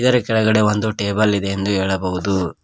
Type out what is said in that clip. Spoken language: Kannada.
ಇದರ ಕೆಳಗಡೆ ಒಂದು ಟೇಬಲ್ ಇದೆ ಎಂದು ಹೇಳಬಹುದು.